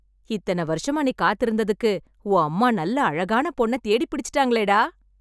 எத்தன வருஷமா நீ காத்து இருந்ததுக்கு, உன் அம்மா, நல்ல அழகான பொண்ண தேடி பிடிச்சிட்டாங்களேடா...